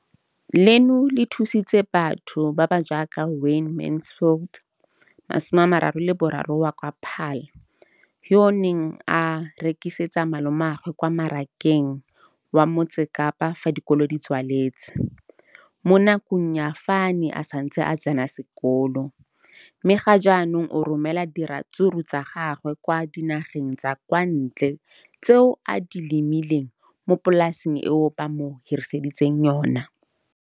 Leno le thusitse batho ba ba jaaka Wayne Mansfield, 33, wa kwa Paarl, yo a neng a rekisetsa malomagwe kwa Marakeng wa Motsekapa fa dikolo di tswaletse, mo nakong ya fa a ne a santse a tsena sekolo, mme ga jaanong o romela diratsuru tsa gagwe kwa dinageng tsa kwa ntle tseo a di lemileng mo polaseng eo ba mo hiriseditseng yona.